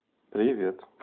привет